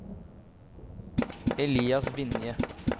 Elias Vinje